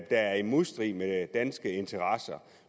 der er i modstrid med danske interesser